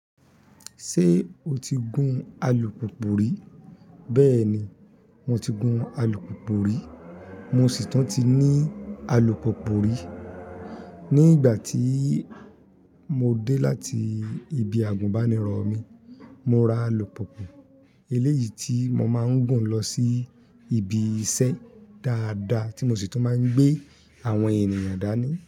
Ṣé o ti gun alùpùpù rí? Bẹ́ẹ̀ ni, mo ti gun alùpùpù rí, mo sì tún ti ní alùpùpù rí. Ní ìgbà tí mo dé láti ibi àgùnbánirọ̀ mi, mo ra alùpùpù eléyìí tí mo máa ń gùn lọ sí ibi iṣẹ́ dáadáa tí mo sì tún máa ń gbé àwọn ènìyàn dání.